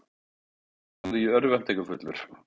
sagði ég örvæntingarfullur.